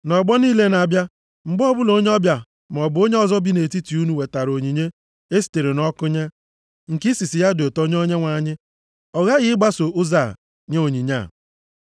Nʼọgbọ niile na-abịa, mgbe ọbụla onye ọbịa, maọbụ onye ọzọ bi nʼetiti unu wetara onyinye e sitere nʼọkụ nye, nke isisi ya dị ụtọ nye Onyenwe anyị, ọ ghaghị ịgbaso ụzọ a nye onyinye ya.